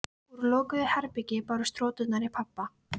Úr lokuðu herbergi bárust hroturnar í pabba.